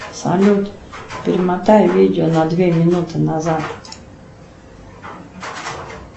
салют перемотай видео на две минуты назад